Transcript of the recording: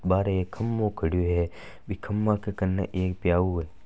बाहर एक खभा खड़ो है। बि खभा कन एक प्याऊ है।